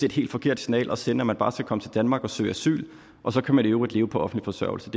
et helt forkert signal at sende at man bare skal komme til danmark og søge asyl og så kan man i øvrigt leve på offentlig forsørgelse